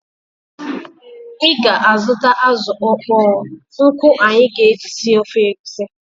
Ị ga-azụta azụ ọkpọọ nkụ anyị ga-eji sie ofe egusi?